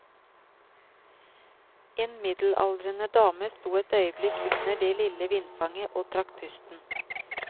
En middelaldrende dame sto et øyeblikk under det lille vindfanget og trakk pusten.